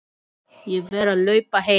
Ég verð að hlaupa heim.